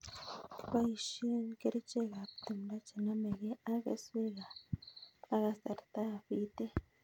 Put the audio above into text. Kibosien kerichekab timdo chenomekei ak keswek ak kasartab bitet.